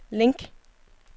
link